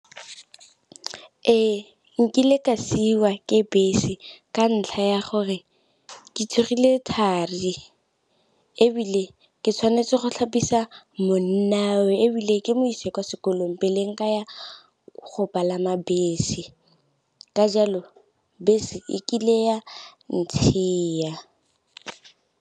Ee, nkile ka siwa ke bese ka ntlha ya gore ke tsogile thari, ebile ke tshwanetse go tlhapisa monnawe, ebile ke mo isa kwa sekolong pele nka ya go palama bese. Ka jalo bese e kile ya ntshia.